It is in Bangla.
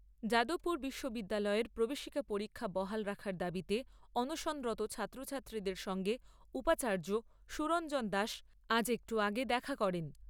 যাদবপুর বিশ্ববিদ্যালয়ের প্রবেশিকা পরীক্ষা বহাল রাখার দাবিতে অনশনরত ছাত্রছাত্রীদের সঙ্গে উপাচার্য সুরঞ্জন দাস আজ একটু আগে দেখা করেন।